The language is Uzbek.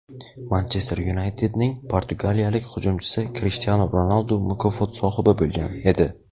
"Manchester Yunayted"ning portugaliyalik hujumchisi Krishtianu Ronaldu mukofot sohibi bo‘lgan edi.